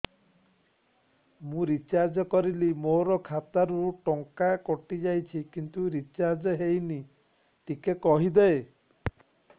ମୁ ରିଚାର୍ଜ କରିଲି ମୋର ଖାତା ରୁ ଟଙ୍କା କଟି ଯାଇଛି କିନ୍ତୁ ରିଚାର୍ଜ ହେଇନି ଟିକେ କହିବେ